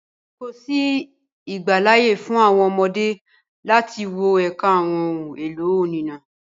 Kòsí ìgbàláyè fún àwọn ọmọdé láti wọ ẹka àwọn ohun-èlò oníná.